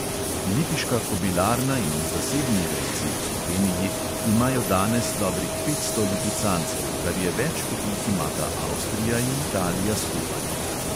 Lipiška kobilarna in zasebni rejci v sloveniji imajo danes dobrih petsto lipicancev, kar je več, kot jih imata avstrija in italija skupaj.